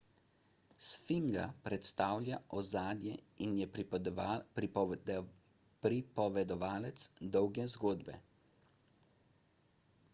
sfinga predstavlja ozadje in je pripovedovalec dolge zgodbe